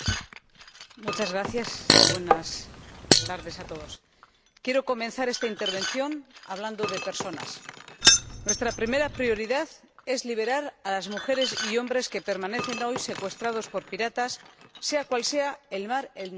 Señora Presidenta, quiero comenzar esta intervención hablando de personas. Nuestra primera prioridad es liberar a las mujeres y a los hombres que permanecen hoy secuestrados por piratas, sea cual sea el mar en el que estos operen.